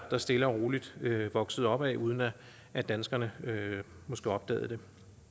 der stille og roligt voksede opad uden at at danskerne måske opdagede det